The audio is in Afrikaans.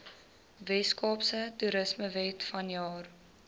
weskaapse toerismewet vanjaar